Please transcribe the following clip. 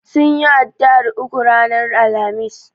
Sunyi addu'ar ukun ranar Alhamis.